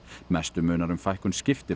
mestu munar um fækkun